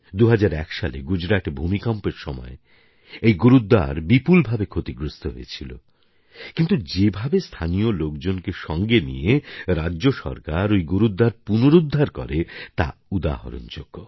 ২০০১ সালে গুজরাটে ভূমিকম্পের সময় এই গুরুদ্বার বিপুলভাবে ক্ষতিগ্রস্ত হয়েছিল কিন্তু যে ভাবে স্থানীয় লোকজনকে সঙ্গে নিয়ে রাজ্যসরকার ঐ গুরুদ্বার পুনরুদ্ধার করে তা উদাহরণযোগ্য